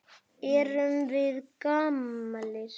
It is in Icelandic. Erum við gamlir?